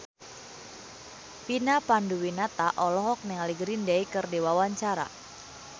Vina Panduwinata olohok ningali Green Day keur diwawancara